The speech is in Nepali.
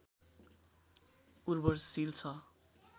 उर्वरशील छ